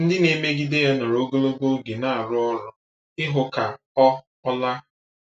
Ndị na-emegide ya nọrọ ogologo oge na-arụ ọrụ ịhụ ka ọ ọ laa.